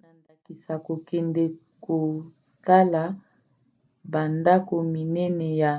na ndakisa kokende kotala bandako minene ya